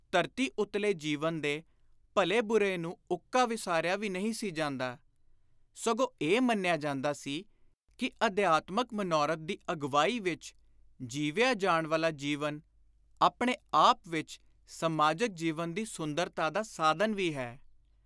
ਧਰਤੀ ਉਤਲੇ ਜੀਵਨ ਦੇ ਭਲੇ-ਬਰੇ ਨੂੰ ਉੱਕਾ ਵਿਸਾਰਿਆ ਵੀ ਨਹੀਂ ਸੀ ਜਾਂਦਾ, ਸਗੋਂ ਇਹ ਮੰਨਿਆ ਜਾਂਦਾ ਸੀ ਕਿ ਅਧਿਆਤਮਕ ਮਨੌਰਥ ਦੀ ਅਗਵਾਈ ਵਿਚ ਜੀਵਿਆ ਜਾਣ ਵਾਲਾ ਜੀਵਨ ਆਪਣੇ ਆਪ ਵਿਚ ਸਮਾਜਕ ਜੀਵਨ ਦੀ ਸੁੰਦਰਤਾ ਦਾ ਸਾਧਨ ਵੀ ਹੈ।